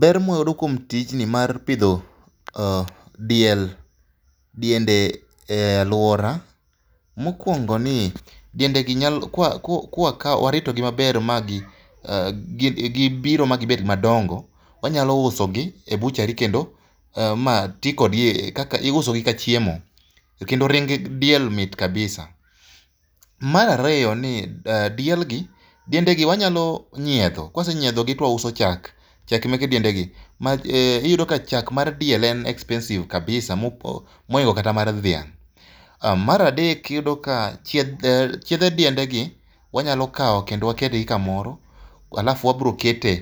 Ber ma wayudo kuom tijni mar pidho diel, diende e aluora, mokuongo ni diendegi ka waritogi maber ma gibiro ma gibet madongo, wanyalo usogi e butchery kendo ma ti kodgi kaka iusogi ka chiemo. Kendo ring diel mit kabisa. Mar ariyo ni dielgi diendegi wanyalo nyiedho, ka wase nyiedhogi to wauso chak, chak mege diendegi. Iyudo ka chak mar diel en expensive kabisa moingo kata mar dhiang‘, Mar adek iyudo ka chiedhe diendegi wanyalo kawo kendo waketghi kamoro alafu wabiro keto